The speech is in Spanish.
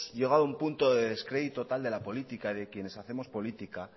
llegado a un punto de descrédito tal de la política de quienes hacemos política